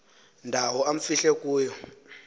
ndawo amfihle kuyo